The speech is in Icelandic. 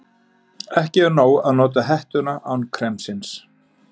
Ekki er nóg að nota hettuna án kremsins.